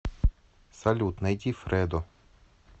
салют найди фредо